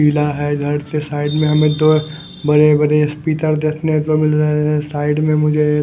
पीला है घर के साइड में हमें दो बड़े बड़े स्पीकर देखने को मिल रहे हैं साइड में मुझे एक--